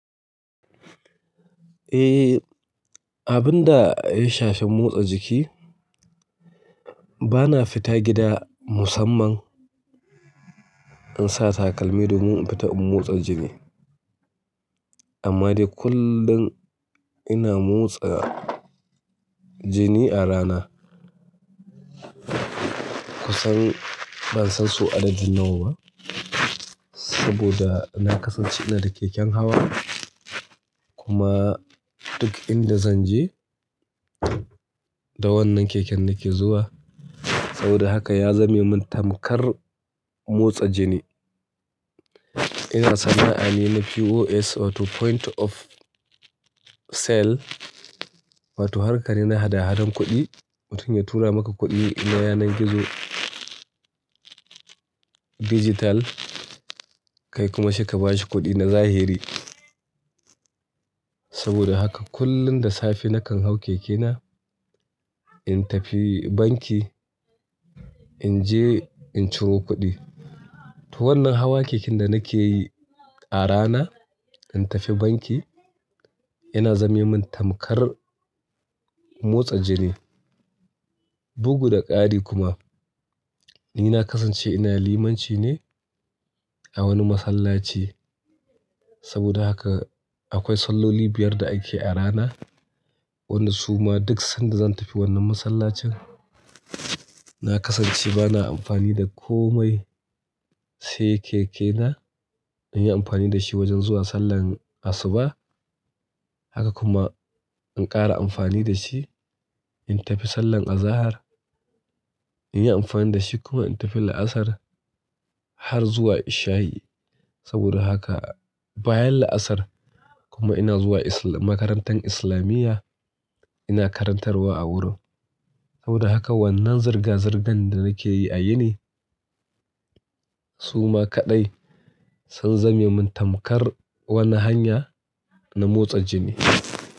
Eh, abin da ya shafi motsa jiki, bana fita gida musamman in sa takalmi domin in fita in motsa jiki. Amma dai kullum ina motsa jini a rana. Kusan ban san sau adadi nawa ba saboda na kasance ina da keken hawa kuma duk inda zan je da wannan keken nake zuwa. Saboda haka ya zame mun tamkar motsa jini. Ina sana'a ne na POS wato point of sale wato harkar ne na hada hadan kuɗi. Mutum ya tura maka kuɗi na yana gizo dijital kai kuma saika bashi kuɗi na zahiri. Saboda haka kullum da safe nakan hau keke na in tafi banki, in je in ciro kuɗi. To wannan hawa keken da nake yi a rana in tafi banki yana zame mun tamkar motsa jini. Bugu da ƙari kuma ni na kasance ina limanci ne a wani masallaci. Saboda haka akwai salloli biyar da ake a rana. Wanda suma duk sanda zan tafi wannan masallacin na kasance bana amfani da komai sai keke na. In yi amfani da shi wajen zuwa sallar asuba. Haka kuma in ƙara amfani da shi in tafi sallar azahar. In yi amfani da shi kuma in tafi la'asar har zuwa isha'i. Saboda haka bayan la'asar kuma ina zuwa Islam-- makarantar islamiyya ina karantarwa a wurin. Saboda haka wannan zirga-zirgan da nake yi a yini suma kaɗai sun zame mun tamkar wani hanya na motsa jini.